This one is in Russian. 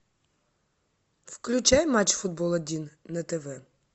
включай матч футбол один на тв